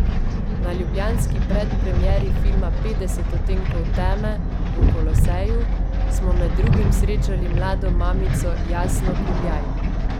Na ljubljanski predpremieri filma Petdeset odtenkov teme v Koloseju smo med drugim srečali mlado mamico Jasno Kuljaj.